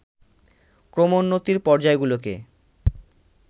ক্রমোন্নতির পর্যায়গুলিকে